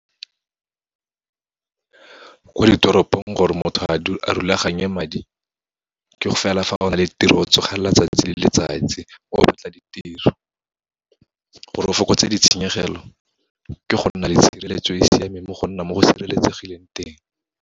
Ko ditoropong gore motho a rulaganye madi, ke fela fa o na le tiro, o tsogelela letsatsi le letsatsi, o batla ditiro. Gore o fokotse ditshenyegelo, ke go nna le tshireletso e e siameng, mo go nna mo go sireletsegileng teng.